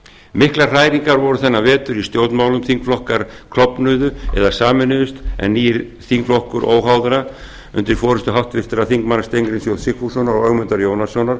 miklar hræringar voru þennan vetur í stjórnmálum þingflokkar klofnuðu eða sameinuðust en nýr þingflokkur óháðra undir forustu háttvirts þingmanns steingríms j sigfússonar og ögmundar jónassonar